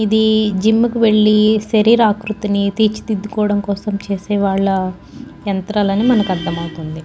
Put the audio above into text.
ఇది జిమ్ కు వెళ్లి శరీరాకృతిని తీర్చిదిద్దుకోవడం కోసం చేసేవాళ్ళ యంత్రాల అని మనకు అర్థం అవుతుంది.